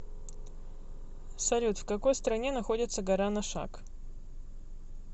салют в какой стране находится гора ношак